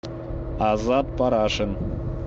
азат парашин